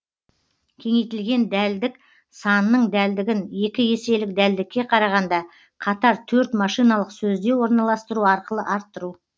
кеңейтілген дәлдік санның дәлдігін екі еселік дәлдікке қарағанда қатар төрт машиналық сөзде орналастыру арқылы арттыру